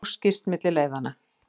Mús skýst milli leiðanna.